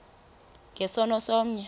nge sono somnye